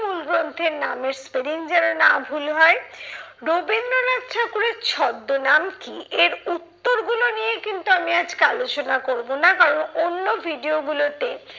মূল গ্রন্থের নামের spelling যেন না ভুল হয়। রবীন্দ্রনাথ ঠাকুরের ছদ্মনাম কি? এর উত্তর গুলো নিয়ে কিন্তু আমি আজকে আলোচনা করবো না, কারণ অন্য video গুলোতে